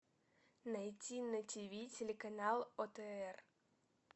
найти на тиви телеканал отр